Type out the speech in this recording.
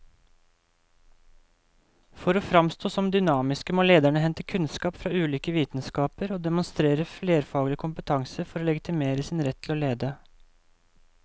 For å framstå som dynamiske må lederne hente kunnskap fra ulike vitenskaper og demonstrere flerfaglig kompetanse for å legitimere sin rett til å lede.